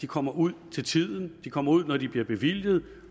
kommer ud til tiden at de kommer ud når de bliver bevilget